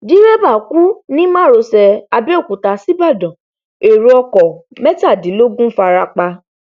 dírébà kú ní márosẹ àbẹòkúta ṣíbàdàn èrò ọkọ̀ mẹtàdínlógún farapa